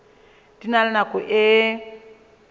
di na le nako e